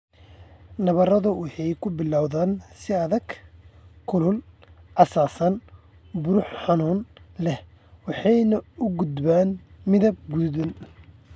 Nabaradu waxay ku bilowdaan si adag, kulul, casaan, buro xanuun leh waxayna u gudbaan midab guduudan.